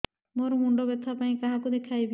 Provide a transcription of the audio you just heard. ମୋର ମୁଣ୍ଡ ବ୍ୟଥା ପାଇଁ କାହାକୁ ଦେଖେଇବି